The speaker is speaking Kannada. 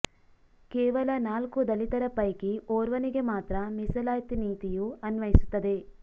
ಕೇವಲ ನಾಲ್ಕು ದಲಿತರ ಪೈಕಿ ಓರ್ವನಿಗೆ ಮಾತ್ರ ಮೀಸಲಾತಿ ನೀತಿಯು ಅನ್ವಯಿಸುತ್ತದೆ